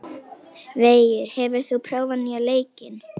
Veigur, hefur þú prófað nýja leikinn?